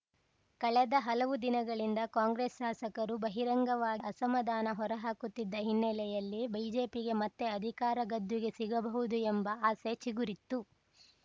ಕಳೆದ ಹಲವು ದಿನಗಳಿಂದ ಕಾಂಗ್ರೆಸ್‌ ಶಾಸಕರು ಬಹಿರಂಗವಾಗಿ ಅಸಮಾಧಾನ ಹೊರಹಾಕುತ್ತಿದ್ದ ಹಿನ್ನೆಲೆಯಲ್ಲಿ ಬಿಜೆಪಿಗೆ ಮತ್ತೆ ಅಧಿಕಾರ ಗದ್ದುಗೆ ಸಿಗಬಹುದು ಎಂಬ ಆಸೆ ಚಿಗುರಿತ್ತು